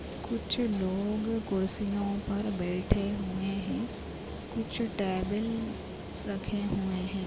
कुछ लोग कुर्सियो पर बैठे हुए है कुछ टेबल रखे हुए है।